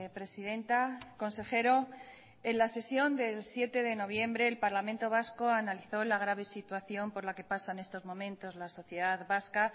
presidenta consejero en la sesión del siete de noviembre el parlamento vasco analizó la grave situación por la que pasa en estos momentos la sociedad vasca